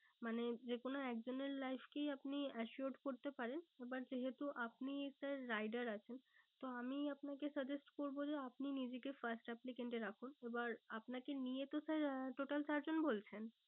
মানে যে কোনো একজনের life কেই আপনি assured করতে পারেন। আবার যেহেতু আপনি sir rider আছেন। তো আমি আপনাকে suggest করবো যে আপনি নিজেকে first applicant এ রাখুন। এবার আপনাকে নিয়ে তো sir আহ total চার জন বলছেন?